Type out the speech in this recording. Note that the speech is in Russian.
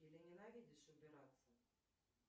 или ненавидишь убираться